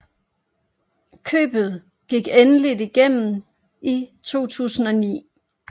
Købet gik endeligt igennem i april 2009